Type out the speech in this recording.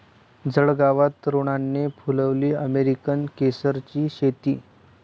जळगावात तरुणाने फुलवली अमेरिकन केसरची शेती